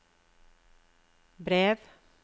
brev